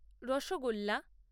rasgulla